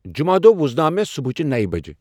جُمعہ دۄہ وزناو مےٚ صبحچِہ نوَ بَجہ۔